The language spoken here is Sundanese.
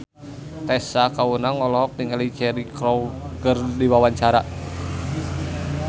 Tessa Kaunang olohok ningali Cheryl Crow keur diwawancara